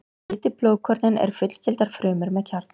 Hvítu blóðkornin eru fullgildar frumur með kjarna.